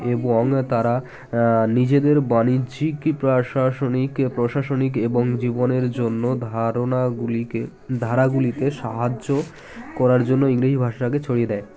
এবং তারা এ নিজেদের বাণিজ্যিক প্রাশাসনিক প্রশাসনিক এবং জীবনের জন্য ধারণা গুলিকে ধারাগুলিকে সাহায্য করার জন্য ইংরেজি ভাষাকে ছড়িয়ে দেয়